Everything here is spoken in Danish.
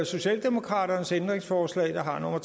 socialdemokraternes ændringsforslag der har nummer